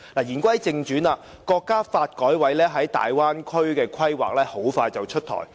言歸正傳，國家發展和改革委員會在大灣區的規劃很快便會出台。